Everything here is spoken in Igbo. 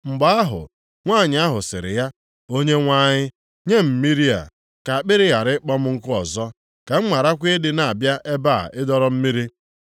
Mgbe ahụ nwanyị ahụ sịrị ya, “Onyenwe anyị nye m mmiri a, ka akpịrị ghara ịkpọ m nkụ ọzọ, ka m gharakwa ịdị na-abịa ebe a ịdọrọ mmiri.”